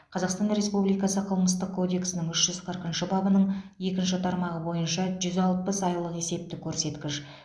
қазақстан республикасы қылмыстық кодексінің үш жүз қырқыншы бабының екінші тармағы бойынша жүз алпыс айлық есептік көрсеткіш